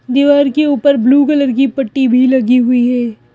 दीवार के ऊपर ब्लू कलर की पट्टी भी लगी हुई है।